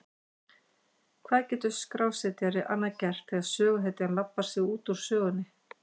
Hvað getur skrásetjari annað gert þegar söguhetjan labbar sig út úr sögunni?